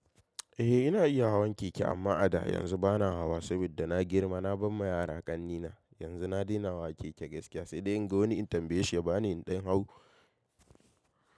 Eh ina iya hawan keke amma a da, yanzu bana hawa saboda na girma. Na bar ma yara ƙannena, yanzu na daina hawa keke gaskiya sai dai in ga wani in tambaye shi ya bani in ɗan hau.